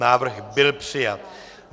Návrh byl přijat.